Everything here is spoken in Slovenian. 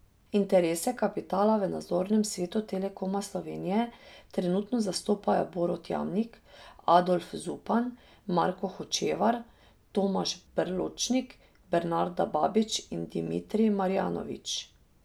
Interese kapitala v nadzornem svetu Telekoma Slovenije trenutno zastopajo Borut Jamnik, Adolf Zupan, Marko Hočevar, Tomaž Berločnik, Bernarda Babič in Dimitrij Marjanović.